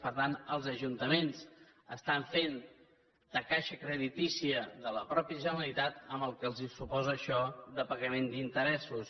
per tant els ajuntaments estan fent de caixa creditícia de la mateixa generalitat amb el que els suposa això de pagament d’interessos